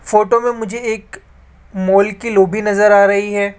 Photo में मुझे एक मॉल की लॉबी नजर आ रही है।